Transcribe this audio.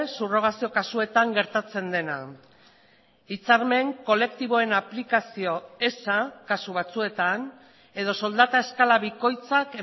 subrogazio kasuetan gertatzen dena hitzarmen kolektiboen aplikazio eza kasu batzuetan edo soldata eskala bikoitzak